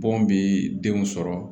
Bɔn bi denw sɔrɔ